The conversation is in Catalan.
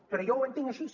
però jo ho entenc així